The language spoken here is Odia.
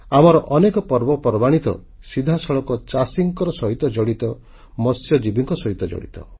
ଆମର ଅନେକ ପର୍ବପର୍ବାଣୀ ତ ସିଧାସଳଖ ଚାଷୀଙ୍କ ସହିତ ଜଡ଼ିତ ମତ୍ସ୍ୟଜୀବିଙ୍କ ସହିତ ଜଡ଼ିତ